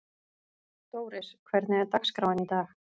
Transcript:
Dóris, hvernig er dagskráin í dag?